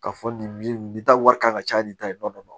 K'a fɔ nin nin ta wari kan ka caya nin ta in dɔnnen don